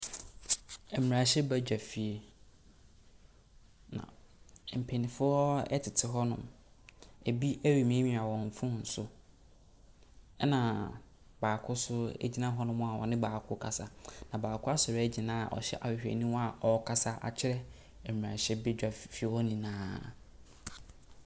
Mmerahyɛ bedwafie, mpanyinfoɔ ɛtete hɔ nom, ebi ɛremiamia wɔn phone so, ɛna baako nso egyina hɔ a ɔne baako ɛkasa. Na baako asɔre ɛgyina ɔhyɛ ahwehwɛniwa a ɔrekasa atwerɛ mmerahyɛ bedwafie hɔ nyinaa.